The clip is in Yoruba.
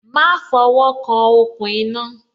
Má fo wo kan okùn iná